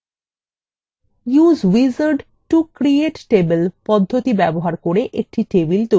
use wizard to create table পদ্ধতি ব্যবহার করে একটি table তৈরি করুন